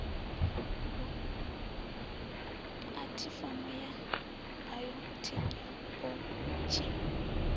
pu athifomo ya bayothekhino odzhi